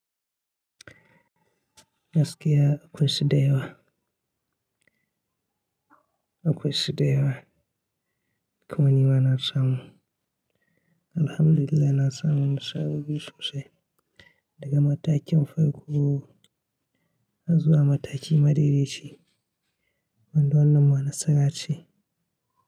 Gaskiya akwai su da yawa, akwai su da yawa. Kuma nima na samu. Alhamdulillah na samu nisha gudu sosai daga matakin farko zuwa mataki madaidaici, wanda wannan ma nasarace.